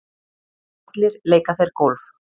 Allir leika þeir golf.